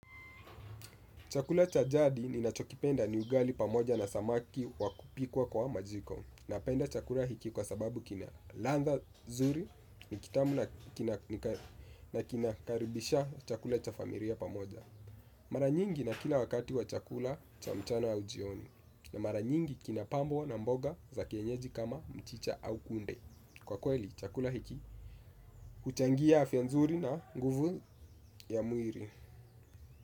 Chakula cha jadi ni nachokipenda ni ugali pamoja na samaki wakupikwa kwa majiko. Napenda chakula hiki kwa sababu kina ladha zuri ni kitamu na kinakaribisha chakula cha familia pamoja. Mara nyingi na kila wakati wa chakula cha mchana au jioni. Na mara nyingi kina pambo na mboga za kienyeji kama mchicha au kunde. Kwa kweli chakula hiki kuchangia afya nzuri na nguvu ya mwili.